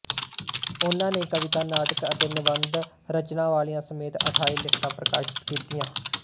ਉਨ੍ਹਾਂ ਨੇ ਕਵਿਤਾ ਨਾਟਕ ਅਤੇ ਨਿਬੰਧ ਰਚਨਾਵਲੀਆਂ ਸਮੇਤ ਅੱਠਾਈ ਲਿਖਤਾਂ ਪ੍ਰਕਾਸ਼ਿਤ ਕੀਤੀਆਂ